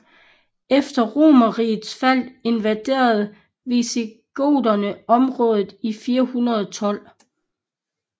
Efter Romerrigets fald invaderede visigoterne området i 412